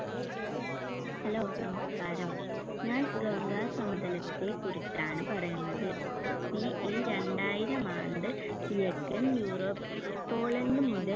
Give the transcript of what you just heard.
hello നമസ്ക്കാരം ഞാൻ ഗംഗാ സമതലത്തെക്കുറിച്ചാണ്‌ പറയുന്നത് BCE രണ്ടായിരം ആണ്ട് കിഴക്കൻ യൂറോപിലെ പോളണ്ട് മുതൽ